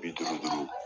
Bi duuru duuru